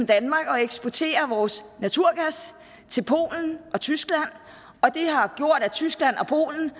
danmark at eksportere vores naturgas til polen og tyskland og det har gjort at tyskland og polen